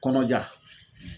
Kɔnɔja